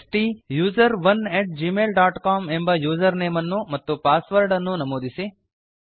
ಸ್ಟುಸೆರೋನ್ at Gmail dot C O M ಎಂಬ username ಅನ್ನು ಮತ್ತು ಪಾಸ್ವರ್ಡ್ ಅನ್ನು ನಮೂದಿಸಿ